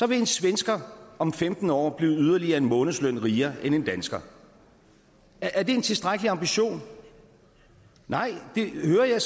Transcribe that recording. vil en svensker om femten år blive yderligere en månedsløn rigere end en dansker er det en tilstrækkelig ambition nej det hører jeg